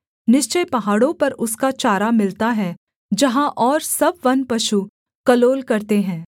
निश्चय पहाड़ों पर उसका चारा मिलता है जहाँ और सब वन पशु कलोल करते हैं